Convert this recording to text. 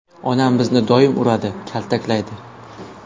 Onam bizni doim uradi, kaltaklaydi.